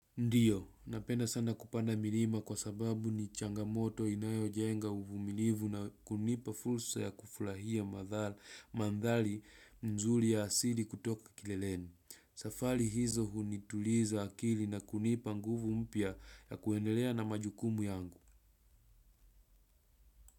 Ndiyo, napenda sana kupanda milima kwa sababu ni changamoto inayojenga uvumilivu na kunipa fursa ya kufurahia madhali mzuri ya asili kutoka kileleni. Safari hizo hunituliza akili na kunipa nguvu mpya ya kuendelea na majukumu yangu.